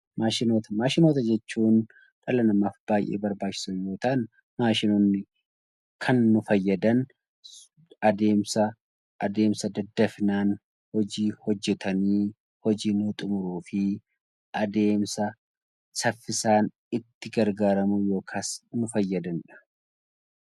Maashinoota: Maashinoota jechuun dhala namaaf baay'ee barbaachisoo yommuu ta'an, maashinoonni kan nu fayyadana adeemsa daddafinaan hojii hojjetanii hojii xumuruu fi adeemsa saffisaan itti gargaaramuu yookaan itti fayyadamuudha.